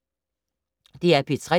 DR P3